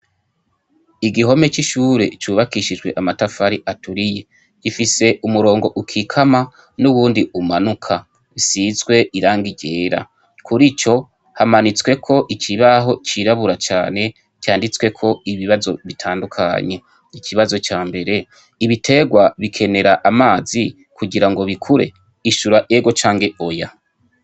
Igihome cishure cubakishijwe amatafari aturiye gifise umurongo ukikama nuwundi umanuka usizwe irangi ryera kurico hamanitsweko ikibaho cirabura cane canditsweko ibibazo bitandukanye ikibazo ca mbere ibiterwa bikenera amazi kugirango bikure